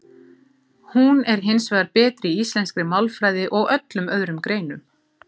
Hún er hins vegar betri í íslenskri málfræði og öllum öðrum greinum.